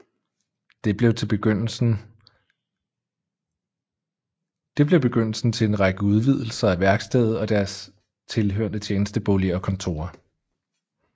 Det blev begyndelsen til en række udvidelser af værkstedet og dets tilhørende tjenesteboliger og kontorer